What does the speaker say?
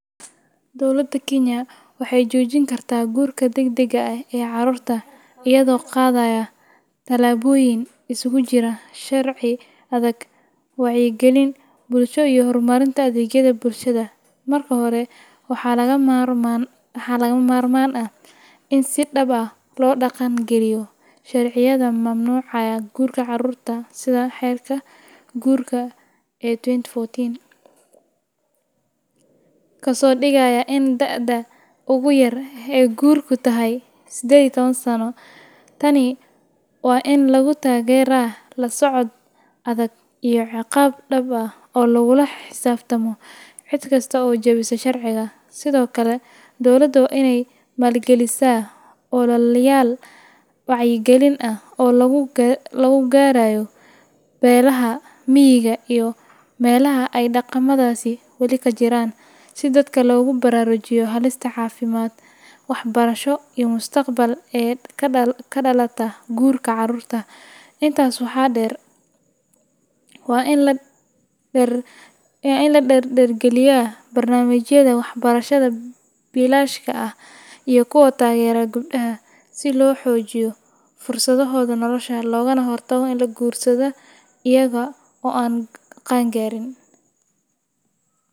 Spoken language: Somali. Dowladda Kenya waxay joojin kartaa guurka degdega ah ee carruurta iyadoo qaadaysa tallaabooyin isugu jira sharci adag, wacyigelin bulsho iyo horumarinta adeegyada bulshada. Marka hore, waxaa lagama maarmaan ah in si dhab ah loo dhaqan geliyo sharciyada mamnuucaya guurka carruurta sida Xeerka Guurka ee 2014, kaasoo dhigaya in da'da ugu yar ee guurku tahay 18 sano. Tani waa in lagu taageeraa la socod adag iyo ciqaab dhab ah oo lagula xisaabtamo cid kasta oo jebisa sharciga. Sidoo kale, dowladda waa inay maalgelisaa ololayaal wacyigelin ah oo lagu gaadhayo beelaha miyiga iyo meelaha ay dhaqamadaasi wali ka jiraan, si dadka loogu baraarujiyo halista caafimaad, waxbarasho iyo mustaqbal ee ka dhalata guurka carruurta. Intaas waxaa dheer, waa in la dardargeliyaa barnaamijyada waxbarashada bilaashka ah iyo kuwa taageera gabdhaha, si loo xoojiyo fursadahooda nolosha, loogana hortago in ay guursadaan iyaga oo aan qaan gaarin.